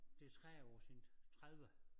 Det 30 år siden 30